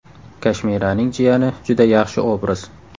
Kashmiraning jiyani – juda yaxshi obraz.